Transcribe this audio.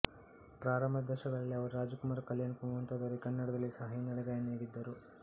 ಪ್ರಾರಂಭದ ದಶಕಗಳಲ್ಲಿ ಅವರು ರಾಜ್ ಕುಮಾರ್ ಕಲ್ಯಾಣ್ ಕುಮಾರ್ ಮುಂತಾದವರಿಗೆ ಕನ್ನಡದಲ್ಲಿ ಸಹಾ ಹಿನ್ನೆಲೆ ಗಾಯನ ನೀಡಿದ್ದರು